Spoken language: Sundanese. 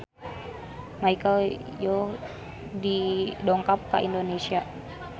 Michelle Yeoh dongkap ka Indonesia